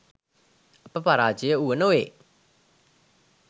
අප පරාජය වුව නොවේ .